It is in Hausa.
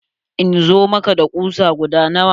In zo maka da kusa guda nawa?